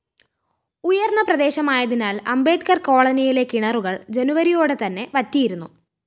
ഉയര്‍ന്ന പ്രദേശമായതിനാല്‍ അംബേദ്കര്‍ കോളനിയിലെ കിണറുകള്‍ ജനുവരിയോടെതന്നെ വറ്റിയിരുന്നു